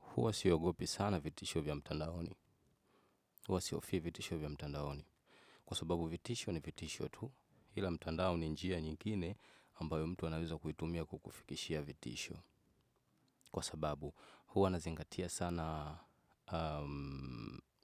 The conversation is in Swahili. Hua siogopi sana vitisho vya mtandaoni. Hua sihofii vitisho vya mtandaoni. Kwa sababu vitisho ni vitisho tu ila mtandao ni njia nyingine ambayo mtu anaweza kuitumia kukufikishia vitisho. Kwa sababu huwa nazingatia sana